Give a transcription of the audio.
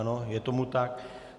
Ano, je tomu tak.